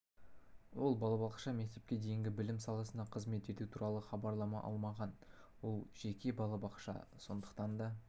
ол балабақша мектепке дейінгі білім саласында қызмет ету туралы хабарлама алмаған ол жеке балабақша сондықтан да